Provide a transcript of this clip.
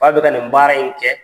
b'a fɛ ka nin baara in kɛ.